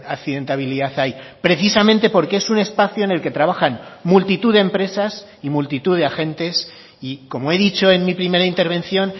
accidentabilidad hay precisamente porque es un espacio en el que trabajan multitud de empresas y multitud de agentes y como he dicho en mi primera intervención